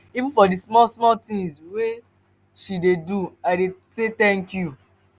even for di small-small tins wey she dey do i dey say tank you.